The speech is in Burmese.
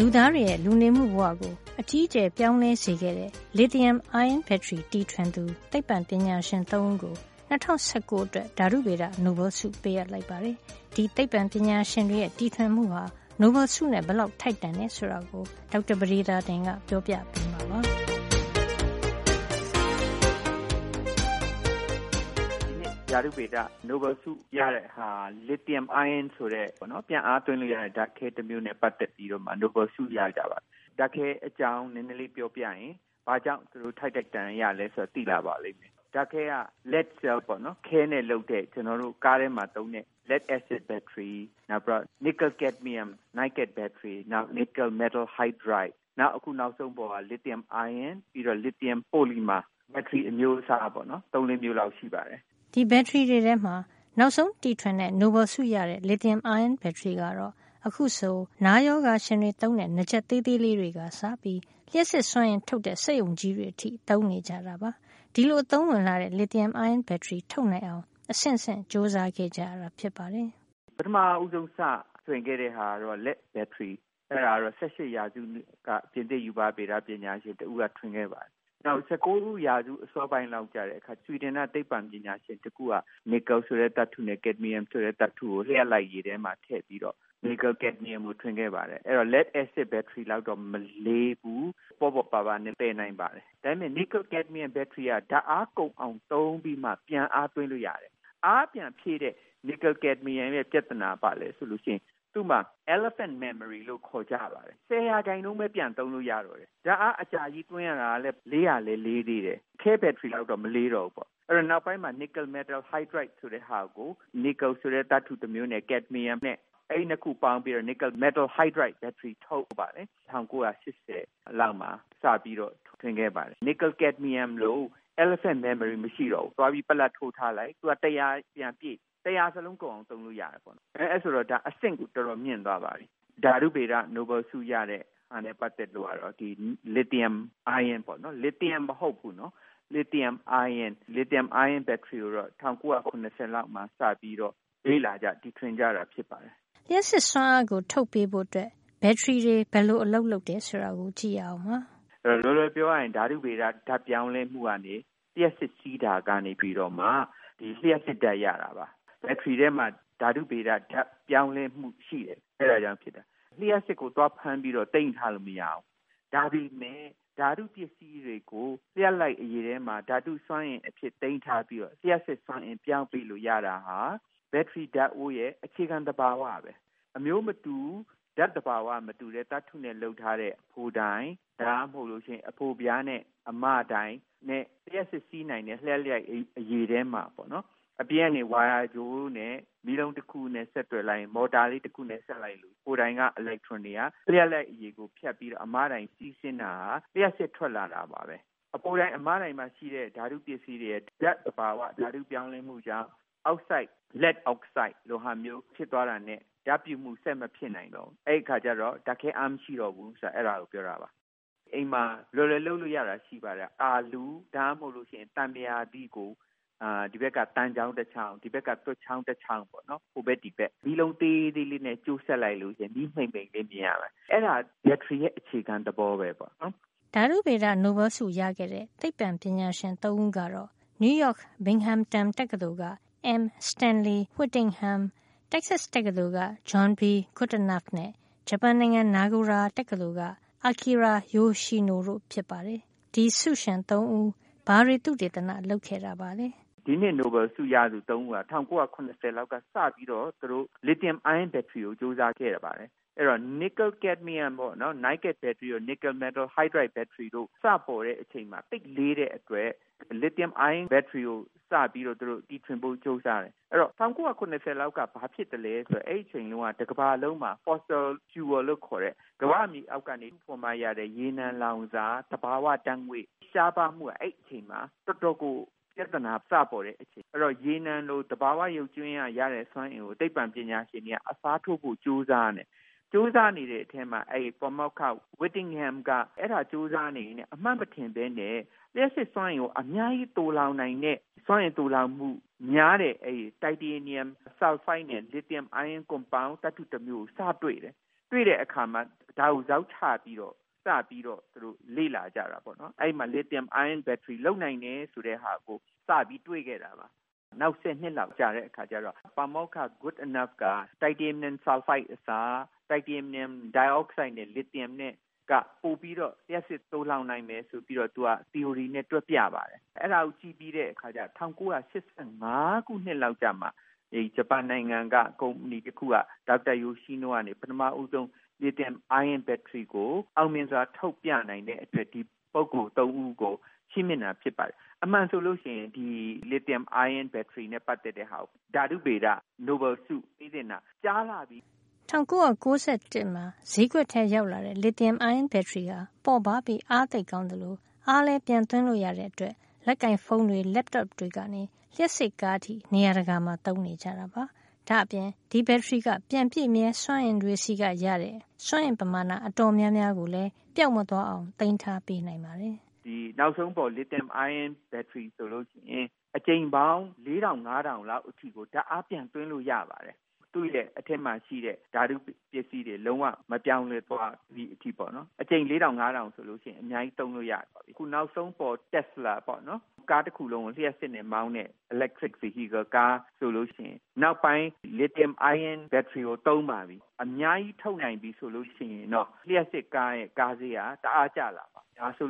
လူသားတွေရဲ့ လူနေမှုဘဝကို အကြီးအကျယ် ပြောင်းလဲစေခဲ့တဲ့ လစ်သီယံ အိုင်းရွန်း Lithium-ion ဘက်ထရီ တီထွင်သူ သိပ္ပံပညာရှင် ၃ ဦးကို ၂၀၁၉ အတွက် ဓါတုဗေဒ နိုဘယ်လ်ဆု ပေးအပ်လိုက်ပါတယ်။ ဒီသိပ္ပံပညာရှင်တွေရဲ့ တီထွင်မှုဟာ နိုဘယ်လ်ဆုနဲ့ ဘယ်လောက်ထိုက်တန်တယ် ဆိုတာကို သိပ္ပံပညာရှင် ဒေါက်တာ ပဒေသာတင်က ပြောပြပေးမှာပါ။ ဒေါက်တာ ပဒေသာတင်။ ။“ဒီနှစ် ဓါတုဗေဒ နိုဘယ်လ်ဆု ရတာက Lithium-ion ဆိုတဲ့ ပြန်ပြီးအားသွင်းလို့ရတဲ့ ဓါတ်ခဲ တမျိုးနဲ့ ပတ်သက်ပြီးနိုဘယ်လ် ဆုရကြတာပါ။ ဓါတ်ခဲ အကြောင်း နဲနဲလေး ပြောပြရင် ဘာကြောင့် ဒီလို ထိုက်ထိုက်တန်တန် ရသလဲ ဆိုတာ သိလာပါလိမ့်မယ်။ ဓါတ်ခဲက lead cell ပေါ့နော် ခဲနဲ့လုပ်တဲ့ ကျနော်တို့တွေ ကားထဲမှာ သုံးတဲ့ lead အက်ဆစ် ဘက်ထရီ၊ နောက်ပြီးတော့ Niclel- Cadmium နီကယ်- ကက်ဒ်မီယံ ဘက်ထရီ၊ နောက် Nickel – metal hydride နီကယ် မက်တယ်လ် ဟိုက်ဒရိုက်၊ နောက် အခု နောက်ဆုံးပေါ်က Lithium-ion လစ်သီယံ အိုင်းရွန်း၊ ပြီးတော့ Lithium polymer လစ်သီယံ ပိုလီမာ၊ ဘက်ထရီ အမျိုးအစားပေါ့နော်။ ၃- ၄ မျိုးလောက် ရှိပါတယ်။ ဒီဘက်ထရီတွေထဲက နောက်ဆုံးတီထွင်ခဲ့ကြတဲ့ နိုဘယ်လ်ဆုရခဲ့တဲ့ Lithium-ion ဘက်ထရီကတော့ အခုဆို နားရောဂါရှင်တွေသုံးတဲ့ နားကြပ်သေးလေးတွေကစပြီး လျှပ်စစ်စွမ်းအင်ထုတ်တဲ့ စက်ရုံကြီးတွေအထိ သုံးနေကြတာပါ။ ဒီလိုအသုံးဝင်လှတဲ့ Lithium-ion ဘက်ထရီ ထုတ်နိုင်အောင် အဆင့်ဆင့်ကြိုးစားခဲ့ကြတာ ဖြစ်ပါတယ်။ ဒေါက်တာ ပဒေသာတင်။ ။“ပထမဦးဆုံး စထွင်ခဲ့တာကတော့ ခဲ ဘက်ထရီ။ အဲဒါကတော့ ၁၈ ရာစုတုန်းက ပြင်သစ် ရူပဗေဒ ပညာရှင် တဦးက ထွင်ခဲ့ပါတယ်။ နောက ်၁၉ ရာစု အစောပိုင်းလောက်က ဆွီဒင်က သိပ္ပံပညာရှင်တဦးက နီကယ် ဆိုတဲ့သတ္တုနဲ့ ကက်ဒ်မီယံ ဆိုတဲ့ သတ္တုကို လျှပ်လိုက်ရည် ထဲမှာထည့်ပြီးတော့ နီကယ်- ကက်ဒ်မီယံ ကို ထွင်ခဲ့ပါတယ်။ အဲဒါက lead – acid ဘက်ထရီလောက်တော့ မလေးဘူး။ ပေါ့ပေါ့ပါးပါးနဲ့ သယ်နိုင်ပါတယ်။ ဒါပေမယ့် နီကယ် ကက်ဒ်မီယံ ဘက်ထရီက ဓါတ်အားကုန်အောင် သုံးပြီးမှ ပြန်အားဖြည့်လို့ ရတယ်။ အားပြန် ဖြည့်တဲ့ နီကယ်- ကက်ဒ်မီယံရဲ့ ပြဿနာက ဘာလဲ ဆိုတော့ သူ့မှာ ဆယ်ရာခိုင်နှုန်းပဲ ပြန်သုံးလို့ ရတယ်။ ဓါတ်အားကလည် အကြာကြီး သွင်းရတယ်။ လေးလည်းလေးတယ်။ ခဲဘက်ထရီလောက်တော့ မလေးတော့ဘူး။ အဲဒီတော့ နောက်ပိုင်းမှာ ကက်ဒ်မီယံတို့ ခဲတို့လိုသဘာဝ ဝန်းကျင်ကို ထိခိုက်စေတဲ့ သတ္တုတွေ မပါတဲ့ Nickel – metal hydride နီကယ် မက်တယ်လ် ဟိုက်ဒရိုက် ဆိုတဲ့ ဘက်ထရီကို ၁၉၈၀ လောက်မှာ စပြီး ထွင်နိုင်ခဲ့ပါတယ်။ သူက Niclel- Cadmium လိုမဟုတ်ဖူး၊ အားပြန်ဖြည့်တဲ့အခါ တရာ ရာခိုင်နှုန်း ဖြည့်ထားရင် တရာလုံး ပြန်ပြည့်နိုင်၊ ပြန်သုံးနိုင် ပါတယ်။ ဆိုတော့ ဒါဟာ အတော် အဆင့်မြင့်သွားပါပြီ။ ဓါတုဗေဒ နိုဘယ်လ် ဆုရတာနဲ့ ပတ်သက်လို့ကတော့ လစ်သီယံ အိုင်းရွန်းပေါ့နော်။ သတိထားရမှာက လစ်သီယံ မဟုတ်ဖူးနော်။ သူ့ကိုတော့ ၁၉၇၀ လောက်မှာ စပြီးတော့ လေ့လာကြ၊ တီထွင်ကြတာ ဖြစ်ပါတယ်။ လျှပ်စစ်စွမ်းအားကို ထုတ်ပေးဖို့ ဘက်ထရီဘယ်လို အလုပ်လုပ်တယ် ဆိုတာကို ကြည့်ရအောင်ပါ။ ဒေါက်တာ ပဒေသာတင်။ ။“လွယ်လွယ်ပြောရရင် ဓါတုဗေဒ ဓါတ်ပြောင်းလဲမှုကနေ လျှပ်စစ်ဓါတ်စီးတာကနေမှ လျှပ်စစ်ဓါတ်ကို ရတာပါ။ ဘက်ထရီထဲမှာ ဓါတုဗေဒ ဓါတ်ပြောင်းလဲမှု ရှိတယ်။ အဲဒါကြောင့်ဖြစ်တာ။ လျှပ်စစ်ကို သွားဖမ်းပြီးတော့ သိမ်းထားလို့ မရဘူး။ ဒါပေမယ့် ဓါတုပစ္စည်းတွေကို လျှပ်လိုက်ရည် ထဲမှာ ဓါတုစွမ်းအင် အဖြစ် သိမ်းထားပြီးတော့ လျှပ်စစ် စွမ်းအင် ပြောင်းပေးလို့ ရပါတယ်။ ဒါဟာ ဘက်ထရီ ဓါတ်အိုးရဲ့ အခြေခံ သဘာဝပဲ။ အမျိုးမတူဘူး၊ ဓါတ်သဘာဝချင်း မတူတဲ့ သတ္တုနဲ့ လုပ်ထားတဲ့ အဖိုတိုင် ဒါမှမဟုတ်အဖိုပြားနဲ့ အမတိုင် နု့ လျှပ်စစ် စီးနိုင်တယ်။ လျှပ်လိုက်အရည်ထဲမှာ။ အပြင်ကနေ ဝါယာကြိုးနဲ့ မီးလုံး တခုနဲ့ ဆက်သွယ် လိုက်ရင် မော်တာလေး တခုနဲ့ ဆက်လိုက်လို့ ရှိရင် အဖိုတိုင်က အီလက်ထရွန်တွေက လျှပ်လိုက်ရည်ကို ဖြတ်ပြီး အမတိုင် ဆီ စီးဆင်းတာဟာ လျှပ်စစ်ထွက်လာတာ ပါပဲ။ အဖိုတိုင် အမတိုင်မှာ ရှိတဲ့ ဓါတုပစ္စည်းတွေရဲ့ ဓါတ်သဘာဝ ဓါတုပြောင်းလဲမှုကြောင့် အောက်ဆိုဒ်၊ ခဲအောက်ဆိုဒ် လိုဟာမျိုး ဖြစ်သွားတာနဲ့ ဓါတ်ပြုမှု ဆက်မဖြစ်နိုင်တော့ဘူး။ အဲဒီအခါကျတော့ ဓါတ်ခဲ အားမရှိတော့ဘူး၊ ဆိုတာ အဲဒါကို ပြောတာပါ။ အဲဒါကို အိမ်မှ လွယ်လွယ် လုပ်လို့ရတာ က အာလူး၊ ဒါမှမဟုတ် သံပုရာသီးကို ဒီဘက်က သံချောင်း တချောင်း၊ ဟိုဘက်က သွပ်ချောင်း တချောင်း ပေါ့နော်။ ဟိုဘက် ဒီဘက်။ အဲဒါကို မီးလုံး သေးသေးလေးနဲ့ ဆက်လိုက်လို့ ရှိရင် မီးမှိန်မှိန်လေး မြင်ရပါတယ်။ အဲဒါဟာ ဘက်ထရီရဲ့ အခြေခံ သဘောပဲပေါ့။ ဓါတုဗေဒနိုဘယ်လ်ဆု အချီးမြှင့်ခံရတဲ့ သိပ္ပံပညာရှင် ၃ ဦးကတော့ နယူးရောက် Binghamton တက္ကသိုလ်က M. Stanley Whittingham ၊ Texas တက္ကသိုလ်က John B. Goodenough နဲ့ ဂျပန်နိုင်ငံ နာဂိုရာ Meijo တက္ကသိုလ်က Akira Yoshino တို့ဖြစ်ပါတယ်။ ဒီဆုရှင် ၃ ဦး ဘာတွေ သုတေသန လုပ်ခဲ့တာပါလဲ။ ဒေါက်တာ ပဒေသာတင်။ ။“ဒီနှစ် နိုဘယ်လ်ဆုရသူ ၃ ဦးဟာ ၁၉၇၀ လောက်က စပြီးတော့ သူတို့က Lithium-ion ဘက်ထရီ ကို ကျိုးစားခဲ့ပါတယ်။ Niclel- Cadmium တို့၊ Nickel – metal hydride တို့ စပေါ်တဲ့ အချိန်က သိပ်လေးခဲ့တဲ့ အတွက် Lithium-ion ဘက်ထရီကို ထွင်ဖို့ သူတို့ စပြီး ကျိုးစားခဲ့ကြတယ်။ အဲဒီ ၁၉၇၀ အချိန်လောက်က ဘာဖြစ်သလဲ ဆိုတော့ အဲဒီအချိန် တုန်းက တကမ္ဘာလုံးမှာ fossil fuel လို့ခေါ်တဲ့ ကမ္ဘာမြေလွှာ အောက်က ထုတ်မှ ရတဲ့ ရေနံလောင်စာ - သဘာဝ ဓါတ်ငွေ့ ရှားပါးလို့ အဲဒီအချိန်မှာ တော်တော်ကို ပြဿနာ ပေါ်တဲ အချိန်ပါ။ အဲဒီတော့ ရေနံလို သဘာဝ ရုပ်ကြွင်းက ရတဲ့ စွမ်းအင်ကို အစားထိုးနိုင်ဖို့ သိပ္ပံပညာရှင်တွေက ကျိုးစားနေကြပါတယ်။ ဒီလိုကျိုးစားကြတဲ့ အထဲမှာ ပါမောက္ခ Whittingham က အဲဒါကို ကျိုးစားနေရင်း အမှတ်မထင်ပဲနဲ့ လျှပ်စစ်စွမ်းအင်ကို အများကြီး သိုလှောင်နိုင်တဲ့၊ စွမ်းအင်သိုလှောင်မှုများတဲ့တိုက်တေနီယံ ဆာလ်ဖိုဒ်နဲ့ လစ်သီယံ အိုင်းရွန်းကွန်ပေါင်း သတ္တု တမျိုးကို စတွေ့တယ်။ တွေ့တဲ့အခါမှာ ဒါကို ဇောက်ချပြီးတော့ စလေ့လာတာပါ။ အဲဒီမှာ လစ်သီယံ အိုင်းရွန်း ဘက်ထရီ လုပ်နိုင်တယ် ဆိုတာကို စပြီး တွေ့ခဲ့တာပါ။ နောက်ဆယ်နှစ်လောက် ကြာတဲ့အခါကျတော့ ပါမောက္ခ Goodenough က တိုင်တေနီယံ ဆာလ်ဖိုဒ် အစား တိုင်တေနီယံ ဒိုင်အောက်ဆိုဒ်နဲ့ လစ်သီယံ နဲ့ က ပိုပြီးတော့ လျှပ်စစ် သိုလှောင် နိုင်မယ် ဆိုပြီးတော့ သူက သီအိုရီနဲ့ တွက်ပြပါတယ်။ ၁၉၈၅ ခုနှစ်လောက် ကျတော့မှာ အဲဒီ ဂျပန်နိုင်ငံက ကုမ္ပဏီ တခုက ဒေါက်တာ Yoshino ကနေ ပထမဦးဆုံး လစ်သီယံ အိုင်းရွန်း ဘက်ထရီကို အောင်မြင်စွာ ထုတ်ပြနိုင်တဲ့ အတွက် ဒီပုဂ္ဂိုလ် ၃ ဦးကို ချီးမြှင့်တာ ဖြစ်ပါတယ်။ အမှန် ဆိုရင် ဒီ လစ်သီယံ အိုင်းရွန်းဘက်ထရီနဲ့ ပတ်သက်တဲ့ ဟာကို ဓါတုဗေဒ နိုဘယ်လ်ဆု ပေးသင့်တာ ကြာလှပါပြီ။ ၁၉၉၁ ခုနှစ်မှာ ဈေးကွက်ထဲရောက်လာတဲ့ Lithium-ion ဘက်ထရီဟာ ပေါ့ပါးပြီး အားသိပ်ကောင်းသလို အားလည်းပြန်သွင်းလို့ ရတဲ့အတွက် လက်ကိုင်ဖုံးတွေ၊ Laptop တွေ ကနေ လျှပ်စစ်ကားအထိ နေရာတကာမှာ သုံးနေကြတာပါ။ ဒါ့အပြင် ဒီဘက်ထရီက ပြန်ပြည့်မြဲစွမ်းအင်တွေဆီကရတဲ့ စွမ်းအင်ပမာဏအတော်များများကို ပျောက်မသွားအောင်လည်း သိမ်းထားပေးနိုင်ပါတယ်။ ဒေါက်တာ ပဒေသာတင်။ ။“ဒီ နောက်ဆုံးပေါ် Lithium-ion ဘက်ထရီ ဆိုလို့ ရှိရင် အကြိမ်ပေါင်း ၄ ထောင် - ၅ ထောင်လောက် ဓါတ်အား ပြန်သွင်းလို့ ရပါတယ်။ သူ့အထဲမှာ ရှိတဲ့ ဓါတု ပစ္စည်းတွေ လုံးဝ ဓါတ်ပြောင်းလဲသွားတာ မရှိဘူးပေါ့နော်။ အကြိမ် ၄ ထောင် - ၅ ထောင်လောက် ဆို အများကြီး သုံးလို့ ရတယ်။ အခု နောက်ဆုံးပေါ် Tesla တက်စလာ ဆိုတာ ကားတခုလုံးကို လျှပ်စစ်နဲ့ မောင်းတဲ့ electric vehicle ကား ဆိုလို့ ရှိရင် နောက်ပိုင်း လစ်သီယံ အိုင်းရွန်း ဘက်ထရီကို သုံးပါပြီ။ ဒါကို အများကြီး ထုတ်နိုင်ပြီ ဆိုလို့ ရှိရင်တော့ လျှပ်စစ်ကားရဲ့ ကားဈေးဟာ တအားကျလာမယ်။ ဒါဆို